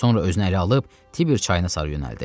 Sonra özünə ələ alıb Tiber çayına sarı yönəldi.